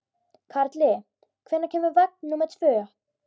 Karli, hvenær kemur vagn númer tvö?